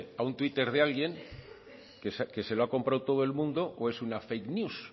a un twitter de alguien que se lo ha comprado todo el mundo o es una fake news